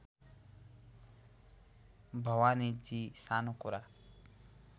भवानीजी सानो कुरा